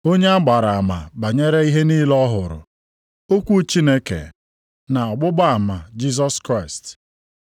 onye a gbara ama banyere ihe niile ọ hụrụ, okwu Chineke, na ọgbụgba ama Jisọs Kraịst.